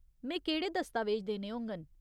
में केह्ड़े दस्तावेज देने होङन?